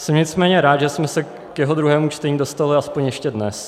Jsem nicméně rád, že jsme se k jeho druhému čtení dostali aspoň ještě dnes.